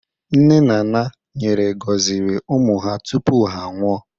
Nne na naa nyere gọziri ụmụ ha tụpụ ha anwụọ